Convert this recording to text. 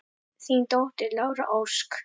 Þín dóttir, Lára Ósk.